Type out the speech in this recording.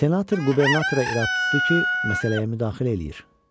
Senator qubernatora irad tutdu ki, məsələyə müdaxilə eləyir.